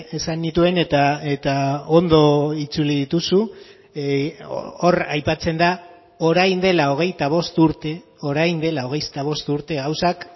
esan nituen eta ondo itzuli dituzu hor aipatzen da orain dela hogeita bost urte orain dela hogeita bost urte gauzak